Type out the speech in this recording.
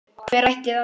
Hver ætli það sé?